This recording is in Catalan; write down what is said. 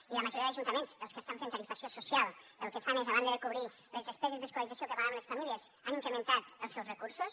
i la majoria d’ajuntaments els que estan fent tarifació social el que fan és a banda de cobrir les despeses d’escolarització que pagaven les famílies han incrementat els seus recursos